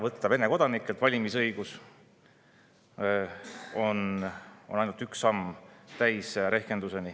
Võtta Vene kodanikelt valimisõigus ära on ainult üks samm täisrehkenduseni.